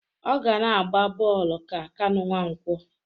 Ọ ga na-agba bọọlụ ka Kanụ Nwankwọ